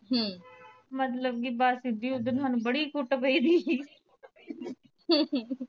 ਹਮ ਮਤਲਬ ਸਾਡੇ ਉਦਣ ਬੜੀ ਕੁੱਟ ਪਈ ਤੀ